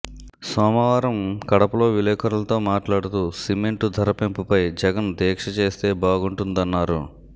సోమవారం కడపలో విలేఖరులతో మాట్లాడుతూ సిమెంటు ధర పెంపుపై జగన్ దీక్ష చేస్తే బాగుంటుందన్నారు